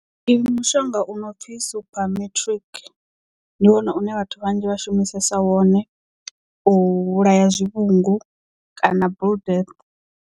Ndi mushonga u no pfi supermetrik ndi wone une vhathu vhanzhi vha shumisesa wone u vhulaya zwivhungu kana blue death.